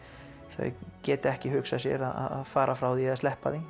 þau geta ekki hugsað sér að fara frá því eða sleppa því